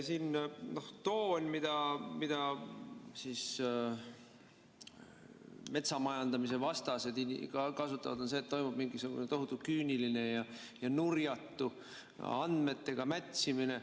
See toon, mida metsa majandamise vastased kasutavad, on see, et toimub mingisugune tohutu küüniline ja nurjatu andmetega mätsimine.